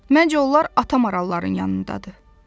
Məncə onlar ata maralların yanındadır.